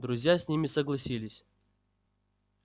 друзья с ним согласились